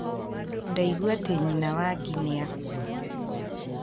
Ndaigua atĩ Nyina wa gi nĩ akua